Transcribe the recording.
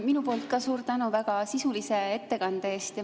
Minu poolt ka suur tänu väga sisulise ettekande eest!